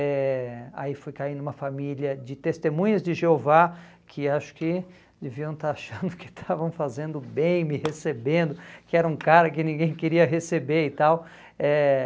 eh Aí fui cair numa família de testemunhas de Jeová, que acho que deviam estar achando que estavam fazendo bem, me recebendo, que era um cara que ninguém queria receber e tal. Eh